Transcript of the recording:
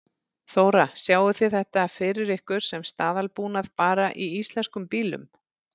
Þóra: Sjáið þið þetta fyrir ykkur sem staðalbúnað bara í íslenskum bílum?